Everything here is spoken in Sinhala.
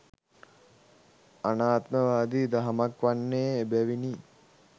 අනාත්මවාදි දහමක් වන්නේ එබැවිනි.